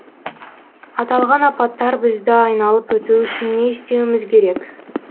аталған апаттар бізді айналып өтуі үшін не істеуіміз керек